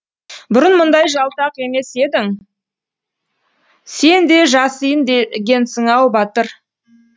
бұрын мұндай жалтақ емес едің сен де жасиын дегенсің ау батыр